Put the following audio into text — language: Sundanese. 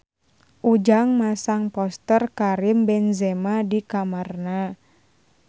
Ujang masang poster Karim Benzema di kamarna